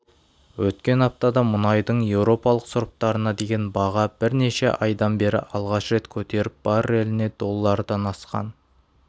өткен аптада мұнайдың еуропалық сұрыптарына деген баға бірнеше айдан бері алғаш рет көтеріліп барреліне доллардан асқан